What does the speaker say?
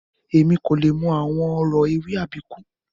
Emi ko le mọ awọn ọrọ ewì Àbíkú